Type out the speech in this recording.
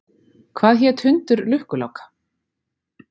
Hvað hét hundur lukkuláka?